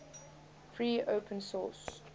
free open source